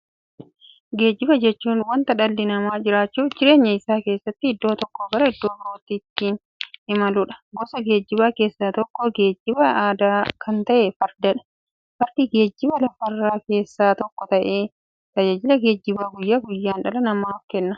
Geejjiba jechuun wanta dhalli namaa jiruuf jireenya isaa keessatti iddoo tokkoo gara iddoo birootti ittiin imaluudha. Gosa geejjibaa keessaa tokko geejjibaa aadaa kan ta'e Fardadha. Fardi geejjibaa lafarraa keessaa tokko ta'ee, tajaajila geejjibaa guyyaa guyyaan dhala namaaf kenna.